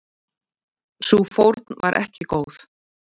Sú fórn var ekki góð.